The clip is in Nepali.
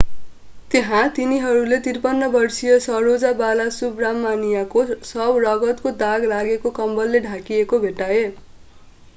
त्यहाँ तिनीहरूले 53 वर्षे saroja balasubramanian को शव रगतको दाग लागेको कम्बलले ढाकिएको भेट्टाए